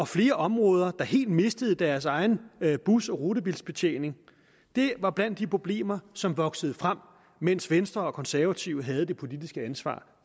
flere områder der helt mistede deres egen bus og rutebilsbetjening det var blandt de problemer som voksede frem mens venstre og konservative havde det politiske ansvar